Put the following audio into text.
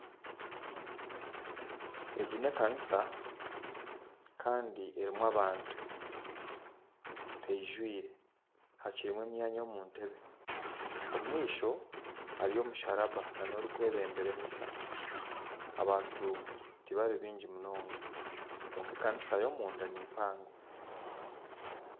Egi n'ekanisa Kandi erumu abantu teyijwire hakirumu emyanya omuntebe omumaisho hariyo omusharaba n'orukwebembera Misa abantu tibari bingi munonga kwonka ekanisa yo, omunda nimpango.